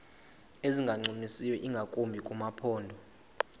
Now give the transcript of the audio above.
ezingancumisiyo ingakumbi kumaphondo